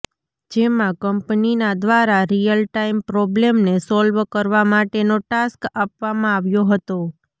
જેમાં કંપનીના દ્વારા રિયલ ટાઈમ પ્રોબ્લમને સોલ્વ કરવા માટેનો ટાસ્ક આપવામાં આવ્યો હતો